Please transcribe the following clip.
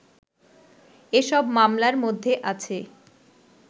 এসব মামলার মধ্যে আছে